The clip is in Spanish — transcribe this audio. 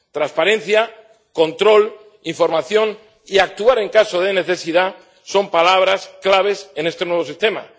Transparencia, control, información y actuar en caso de necesidad son palabras claves en este nuevo sistema.